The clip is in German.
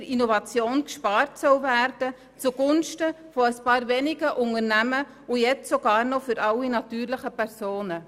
Es darf nicht sein, dass wir angesichts dessen bei der Innovation zugunsten von ein paar wenigen Unternehmen sparen, und nun auch noch zugunsten der natürlichen Personen.